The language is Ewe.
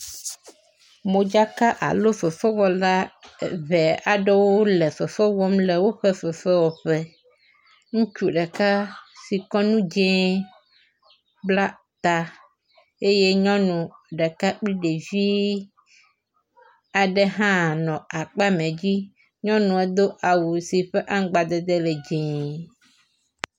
Modzaka alo fefewɔla eve aɖewo le fefe wɔm le woƒe fefewɔƒe. Ŋutsu ɖeka si kɔ nu dzi bla ta eye nyɔnu ɖeka kple ɖevi aɖe hã nɔ akpame dzi. nyɔnua do awu si ƒe aŋgbdede le dzie.